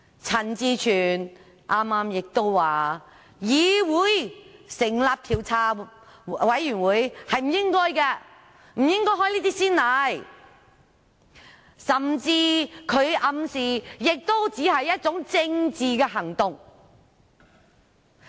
陳志全議員剛才亦說，議會不應該成立調查委員會，不應開這種先例，他甚至暗示這只是政治行動。